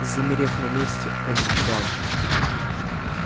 замерев на месте он ждал